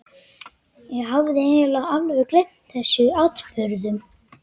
Ég hafði eiginlega alveg gleymt þessum atburðum.